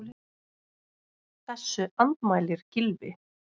Þessu andmælir Gylfi.